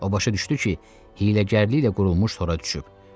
O başa düşdü ki, hiyləgərliklə qurulmuş tora düşüb.